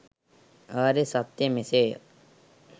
ආර්ය සත්‍යය මෙසේය.